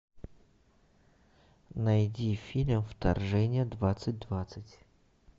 найди фильм вторжение двадцать двадцать